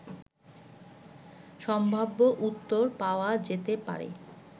সম্ভাব্য উত্তর পাওয়া যেতে পারে